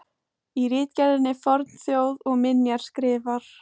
Í ritgerðinni Fornþjóð og minjar skrifar